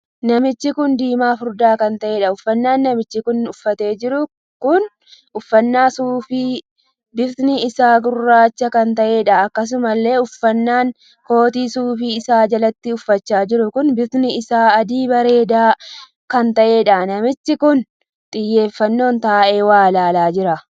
Namichi kun diimaa furdaa kan taheedha. Uffannaa namichi kun uffatee jiru kun uffannaa suufii bifti isaa gurraacha kan taheedha. Akkasumallee uffannaan kootii suufii isaa jalatti uffachaa jiru kun bifti isaa adii bareedaa kan taheedha. Namichi kun xiyyeeffannoon taa'ee waa ilaalaa jira.